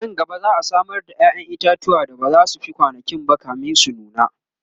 anan gaba za'a Samar da yayan itatuwa da bazasu Fi kwanankinba kamin su nuna